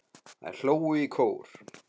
Þær hlógu í kór.